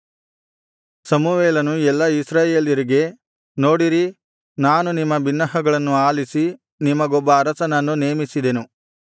ಸಮುವೇಲನು ಎಲ್ಲಾ ಇಸ್ರಾಯೇಲ್ಯರಿಗೆ ನೋಡಿರಿ ನಾನು ನಿಮ್ಮ ಬಿನ್ನಹಗಳನ್ನು ಆಲಿಸಿ ನಿಮಗೊಬ್ಬ ಅರಸನನ್ನು ನೇಮಿಸಿದೆನು